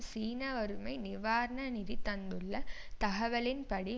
சீன வறுமை நிவாரண நிதி தந்துள்ள தகவலின் படி